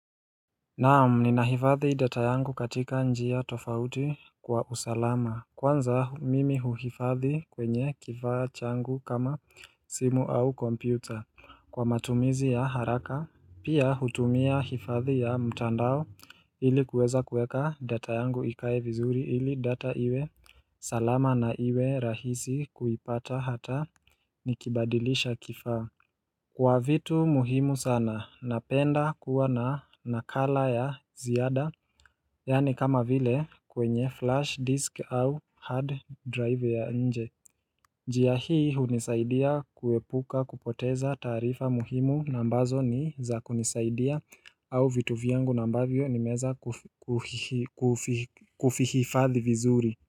Naam ninahifadhi data yangu katika njia tofauti kwa usalama. Kwanza mimi huhifadhi kwenye kifaa changu kama simu au kompyuta. Kwa matumizi ya haraka Pia hutumia hifadhi ya mtandao ili kuweza kuweka data yangu ikae vizuri ili data iwe salama na iwe rahisi kuipata hata nikibadilisha kifaa Kwa vitu muhimu sana, napenda kuwa na nakala ya ziada Yaani kama vile kwenye flash disk au hard drive ya nje njia hii hunisaidia kuepuka kupoteza taarifa muhimu na ambazo ni za kunisaidia au vitu vyangu na ambavyo nimeweza kufihifadhi vizuri.